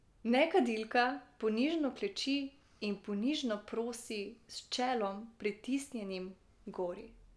Nekadilka ponižno kleči in ponižno prosi, s čelom, pritisnjenim h gori.